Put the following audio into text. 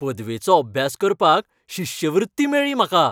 पदवेचो अभ्यास करपाक शिश्यवृत्ती मेळ्ळी म्हाका.